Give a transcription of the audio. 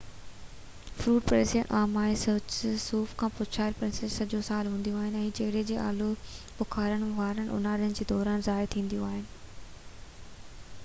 fruit pastries عام آهن صوف سان پچايل پيسٽريز سڄو سال هونديون آهن ۽ چيري ۽ آلو بخارن واريون اونهاري دوران ظاهر ٿينديون آهن